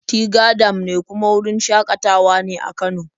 Tiga dam ne kuma wurin shaƙatawa ne a Kano.